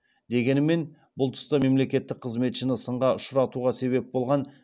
дегенімен бұл тұста мемлекеттік қызметшіні сынға ұшыратуға себеп болған